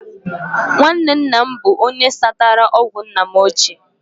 Nwanne nna m bụrụ onye satara ọgwụ nna m ochie